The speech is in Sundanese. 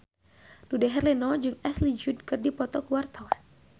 Dude Herlino jeung Ashley Judd keur dipoto ku wartawan